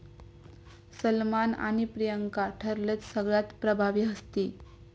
सलमान आणि प्रियांका ठरलेत सगळ्यात 'प्रभावी हस्ती'